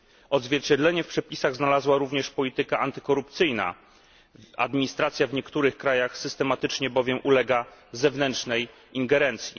Odzwierciedlenie w przepisach znalazła również polityka antykorupcyjna, administracja w niektórych krajach systematycznie bowiem ulega zewnętrznej ingerencji.